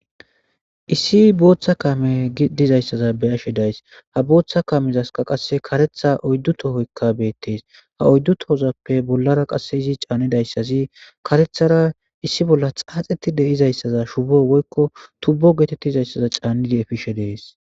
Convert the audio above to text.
Issi bootha kame giddiza issa bessishe dees. A bootha kamezas qassi karetha oyddu tohoyka beettees. Ha oyddu tohoyikappe bollara qasseyizi canida issazi karetsara issi bolla tsaatsetidi diza issa shubo woyko tubbo getetidi diza issa shubo tsanidi efishe bessishe dees.